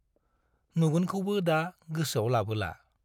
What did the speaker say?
नुगोनखौबो दा गोसोआव लाबोला।